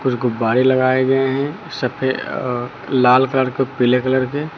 कुछ गुब्बारे लगाए गए हैं सफेद अह लाल कलर के पीले कलर के।